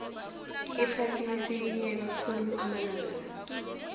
iphasi lisikinyeka khulu amalangala